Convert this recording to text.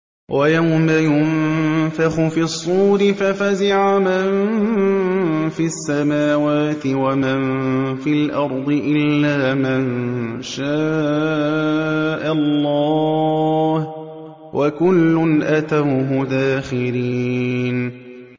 وَيَوْمَ يُنفَخُ فِي الصُّورِ فَفَزِعَ مَن فِي السَّمَاوَاتِ وَمَن فِي الْأَرْضِ إِلَّا مَن شَاءَ اللَّهُ ۚ وَكُلٌّ أَتَوْهُ دَاخِرِينَ